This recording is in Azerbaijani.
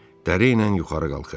Dəriylə yuxarı qalxır.